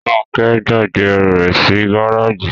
Róńkẹ́ gbàgbé ẹrù rẹ̀ sí gáràjì.